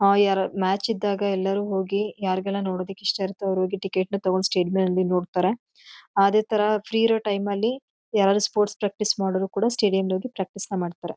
ಅಹ್ ಯಾರ್ ಮ್ಯಾಚ್ ಇದ್ದಾಗ ಎಲ್ಲರು ಹೋಗಿ ಯಾರ್ಗೆಲ್ಲ ನೋಡದಕ್ಕೆ ಇಷ್ಟ ಇರತ್ತೆ ಅವರ್ ಹೋಗಿ ಟಿಕೆಟ್ ನ ತೊಗೊಂಡ್ ಸ್ಟೇಡಿಯಂ ಅಲ್ಲಿ ನೋಡ್ತಾರ. ಹಾ ಅದೇ ಥರ ಫ್ರೀ ಇರೋ ಟೈಮ್ ಅಲ್ಲಿ ಯಾರಾದ್ರೂ ಸ್ಪೋರ್ಟ್ಸ್ ಪ್ರಾಕ್ಟೀಸ್ ಮಾಡವರ್ ಕೂಡ ಸ್ಟೇಡಿಯಂ ಯಲ್ ಹೋಗಿ ಪ್ರಾಕ್ಟೀಸ್ ನ ಮಾಡ್ತಾರ.